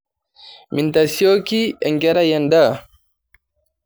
Mintasioki enkerai endaa.